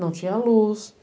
Não tinha luz.